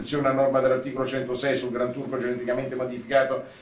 Obiezione a norma dell'articolo 106 sul Granturco geneticamente modificato